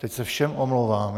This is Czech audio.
Teď se všem omlouvám.